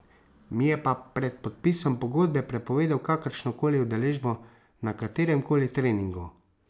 Mi je pa pred podpisom pogodbe prepovedal kakršno koli udeležbo na katerem koli treningu.